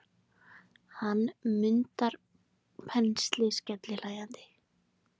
Hann mundar pensilinn skellihlæjandi.